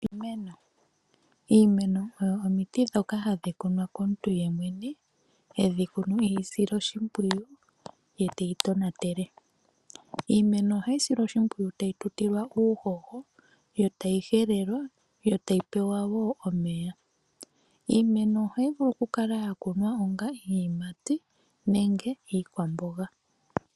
Iimeno Iimeno oyo omiti ndhoka hadhi kunwa komuntu yemwene. He yi kunu e yi sile oshimpwiyu ye teyi tonatele. Iimeno ohayi silwa oshimpwiyu tayi tutilwa uuhoho, yo tayi helelwa, yo tayi pewa omeya, . Iimeno ohayi vulu okukala ya kunwa onga iiyimati nenge onga iikwamboga.